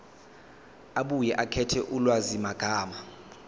abuye akhethe ulwazimagama